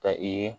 Ka i ye